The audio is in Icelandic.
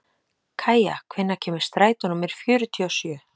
Kæja, hvenær kemur strætó númer fjörutíu og sjö?